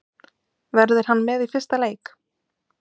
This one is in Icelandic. Verður hann með í fyrsta leik?